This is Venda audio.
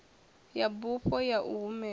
ya bufho ya u humela